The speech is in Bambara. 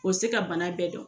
O se ka bana bɛɛ dɔn.